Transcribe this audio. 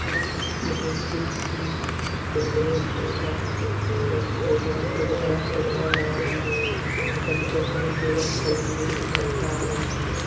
की तीन बिल्डिंग है सजाया गया है बाहर युवक खड़े हुए नज़र आ रहे है।